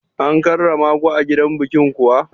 An karramaku a gidan bikin kuwa?